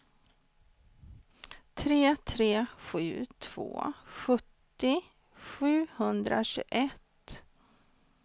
tre tre sju två sjuttio sjuhundratjugoett